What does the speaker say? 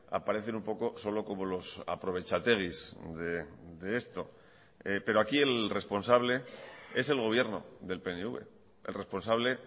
aparecen un poco solo como los aprovechateguis de esto pero aquí el responsable es el gobierno del pnv el responsable